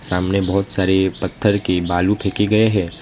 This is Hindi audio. सामने बहुत सारे पत्थर की बालू फेंकी गए हैं।